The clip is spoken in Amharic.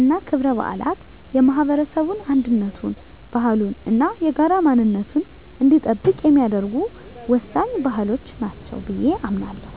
እና ክብረ በዓላት የማህበረሰቡን አንድነቱን፣ ባህሉን እና የጋራ ማንነቱን እንዲጠብቅ የሚያደርጉ ወሳኝ ባህሎች ናቸው ብየ አምናለሁ።